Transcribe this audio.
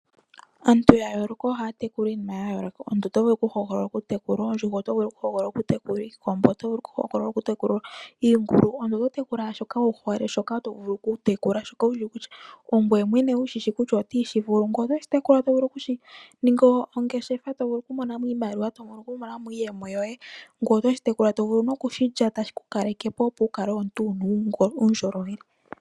Aantu ya yooloka ohaya tekula iinima ya yooloka. Omuntu oto vulu okuhogolola okutekula oondjuhwa, oto vulu okuhogolola okutekula iikombo, oto vulu okuhogolola okutekula iingulu. Omuntu oto hogolola okutekula shoka wu hole, shoka to vulu okutekula. ongoye mwene wu shi shi kutya oto shi vulu. Ngele oto shi tekulile okuninga ongeshefa to vulu okumona mo iimaliwa to vulu okumona mo iiyemo yoye. Ngoye oto shi tekula to vulu nokushilya tashi ku kaleke po, opo wu kale omuntu wu na uundjolowele.